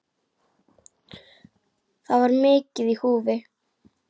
Það var mikið í húfi.